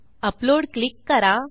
upload click करा